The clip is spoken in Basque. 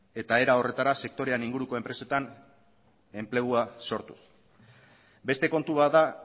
eta era horretara sektorean inguruko enpresetan enplegua sortuz beste kontu bat da